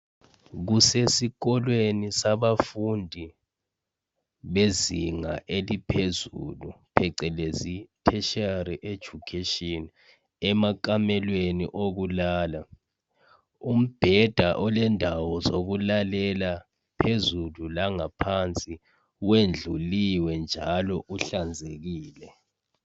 Kusesikolweni sabafundi bezinga eliphezulu phecelezi tertiary education. Emakhamelweni okuhlala ,umbheda olendawo zokulalela phezulu langaphansi wendluliwe njalo uhlanzekile.